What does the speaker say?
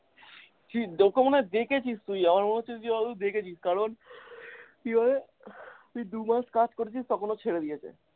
কি ওকে মনে হয় দেখেছিস তুই আমার মনে হচ্ছে যে তুই হয়তো দেখেছিস কারণ কি বলতো তুই দুমাস কাজ করতিস তখন ও ছেড়ে দিয়েছে।